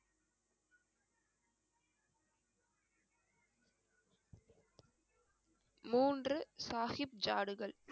மூன்று சாகிப் ஜாடுகள்